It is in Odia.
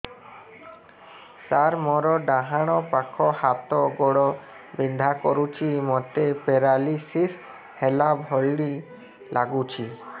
ସାର ମୋର ଡାହାଣ ପାଖ ହାତ ଗୋଡ଼ ବିନ୍ଧା କରୁଛି ମୋତେ ପେରାଲିଶିଶ ହେଲା ଭଳି ଲାଗୁଛି